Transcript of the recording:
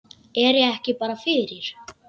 Er ég ekki bara fyrir?